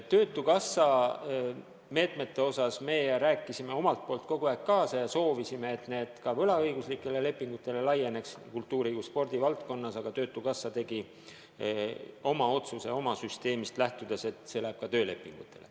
Töötukassa meetmete puhul me oleme kogu aeg kaasa rääkinud ja soovinud, et need kultuuri- ja spordivaldkonnas ka võlaõiguslikele lepingutele laieneks, aga töötukassa tegi oma otsuse oma süsteemist lähtudes, et see läheb töölepingu sõlminutele.